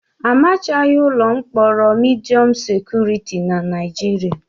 Amachaghị ụlọ mkpọrọ midiọm sekuriti na Naịjirịa.